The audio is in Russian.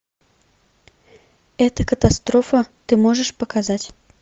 это катастрофа ты можешь показать